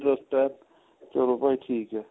trust ਏ ਚਲੋ ਭਾਈ ਠੀਕ ਏ